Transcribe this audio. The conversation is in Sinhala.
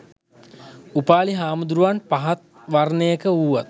උපාලි හාමුදුරුවන් පහත් වර්ණයක වූවත්